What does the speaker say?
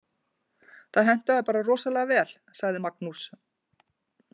Það hentaði bara rosalega vel, sagði Magnús.